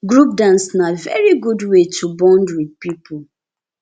group dance na very good wey to bond with people